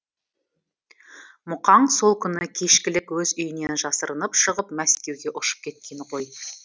мұхаң сол күні кешкілік өз үйінен жасырынып шығып мәскеуге ұшып кеткен ғой